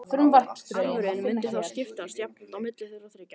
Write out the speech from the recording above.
Arfurinn mundi þá skiptast jafnt á milli þeirra þriggja.